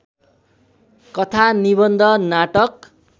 कथा निबन्ध नाटक